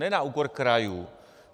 Ne na úkor krajů.